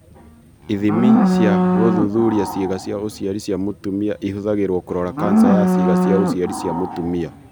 Ithimi cia gũthuthuria ciĩga cia ũciari cia mũtumia ihũthagĩrũo kũrora kanca ya ciĩga cia ũciari cia mũtumia.